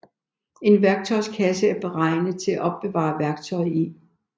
En værktøjskasse er beregnet til at opbevare værktøj i